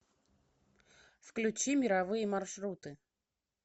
включи мировые маршруты